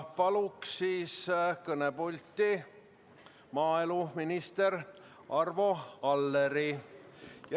Palun kõnepulti maaeluminister Arvo Alleri.